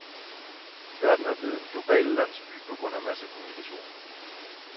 Verden er blevet en global landsby på grund af massekommunikation.